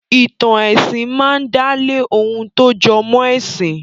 Ì̀tàn ẹ̀sìn máa ń dálé ohun tó jọmọ́ ẹ̀sìn.